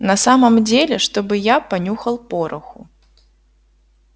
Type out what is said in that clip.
на самом деле чтобы я понюхал пороху